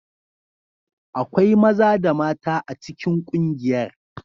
Akwai maza da mata a cikin kungiyar.